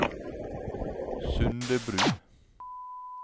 Sundebru